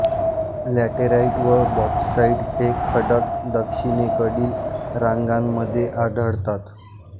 laterite व bauxite हे खडक दक्षिणेकडील रांगांमध्ये आढळतात